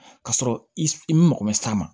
Ka sɔrɔ i i mago bɛ s'a ma